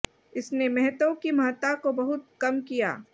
इसने मेहतों की महत्ता को बहुत कम किया